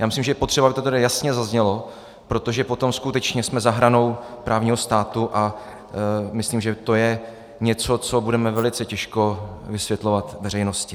Já myslím, že je potřeba, aby to tady jasně zaznělo, protože potom skutečně jsme za hranou právního státu, a myslím, že to je něco, co budeme velice těžko vysvětlovat veřejnosti.